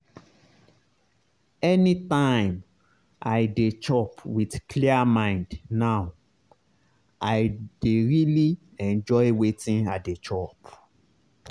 anytime i dey chop with clear mind now i dey really enjoy wetin i dey chop.